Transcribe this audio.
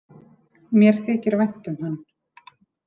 Mér þykir vænt um hann.